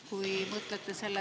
Kui mõtlete selle …